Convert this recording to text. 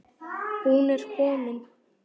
Hún er komin